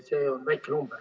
See on väike number.